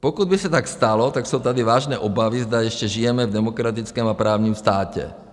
Pokud by se tak stalo, tak jsou tady vážné obavy, zda ještě žijeme v demokratickém a právním státě.